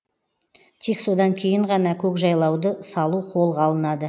тек содан кейін ғана көкжайлауды салу қолға алынады